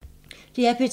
DR P2